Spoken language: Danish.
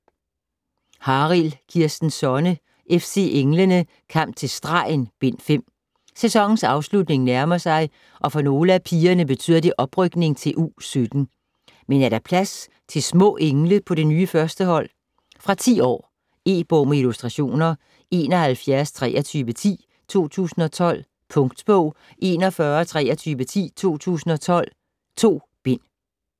Harild, Kirsten Sonne: FC Englene: Kamp til stregen: Bind 5 Sæsonens afslutning nærmer sig og for nogle af pigerne betyder det oprykning til U17. Men er der plads til små engle på det nye 1. hold? Fra 10 år. E-bog med illustrationer 712310 2012. Punktbog 412310 2012. 2 bind.